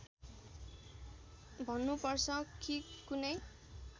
भन्नुपर्छ कि कुनै